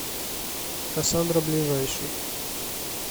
кассандра ближайший